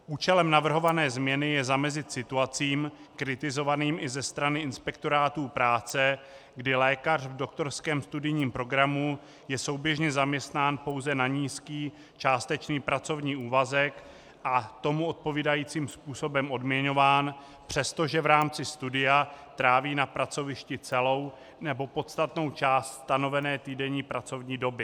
Účelem navrhované změny je zamezit situacím kritizovaným i ze strany inspektorátů práce, kdy lékař v doktorském studijním programu je souběžně zaměstnán pouze na nízký částečný pracovní úvazek a tomu odpovídajícím způsobem odměňován, přestože v rámci studia tráví na pracovišti celou nebo podstatnou část stanovené týdenní pracovní doby.